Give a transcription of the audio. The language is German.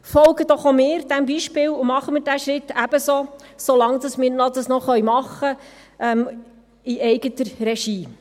Folgen doch auch wir diesem Beispiel und machen wir diesen Schritt ebenso, solange wir das noch in eigener Regie tun können!